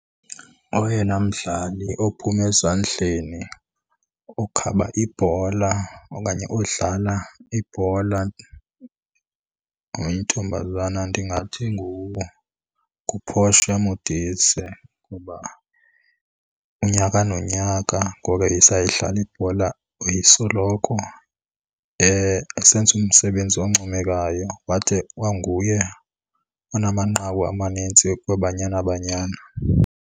Oyena mdlali ophume ezandleni okhaba ibhola okanye odlala ibhola oyintombazana ndingathi nguPortia Modise. Kuba unyaka nonyaka ngoko wayesayidlala ibhola wayesoloko esenza umsebenzi oncomekayo, wade wanguye onamanqaku amanintsi kwiBanyana Banyana.